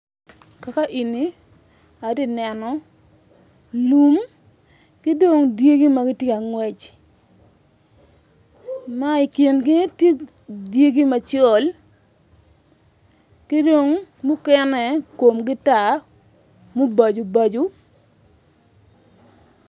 Kakaeni atye ka neno lum ki dong dyegi ma gitye ka ngwec ma i kingi tye dyegi macol ki mukene kongi tar mubaco baco.